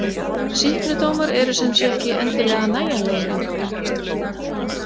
Sýknudómar eru sem sé ekki endilega nægjanlegir lengur.